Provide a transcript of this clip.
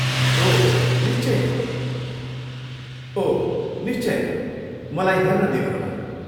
ओह, निश्चय नै, ओह, निश्चय नै, मलाई हेर्न दिनुहोला!